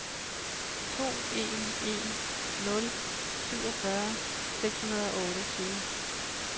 to en en nul syvogfyrre seks hundrede og otteogtyve